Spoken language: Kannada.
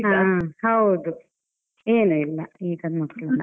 ಹಾ ಹಾ ಹೌದು ಏನು ಇಲ್ಲ ಈಗೇನ್ ಮಕ್ಕಳೆಲ್ಲ.